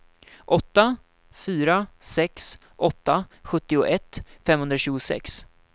åtta fyra sex åtta sjuttioett femhundratjugosex